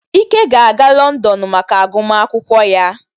Ike ga-aga Lọndọnụ maka agụmakwụkwọ ya